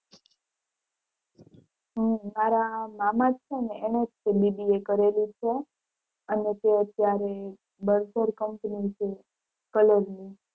હમ મારા મામા છે એને ય તે BBA કરેલું છે અને તે અત્યારે કંપની છે કલોલ ની